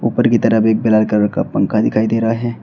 ऊपर की तरफ एक ब्लैक कलर का पंखा दिखाई दे रहा है।